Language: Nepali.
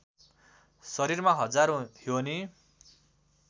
शरीरमा हजारौँ योनि